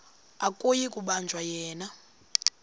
akuyi kubanjwa yena